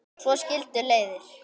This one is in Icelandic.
Svo skildu leiðir.